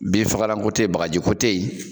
Bin fagalan ko tɛ Yen, bagaji ko tɛ yen!